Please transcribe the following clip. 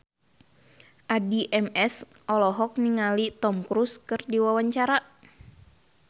Addie MS olohok ningali Tom Cruise keur diwawancara